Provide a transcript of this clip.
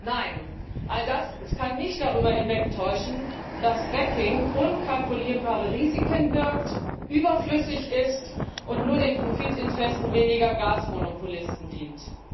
Nein, all das kann nicht darüber hinwegtäuschen, dass Fracking unkalkulierbare Risiken birgt, überflüssig ist und nur den Profitinteressen weniger Gasmonopolisten dient.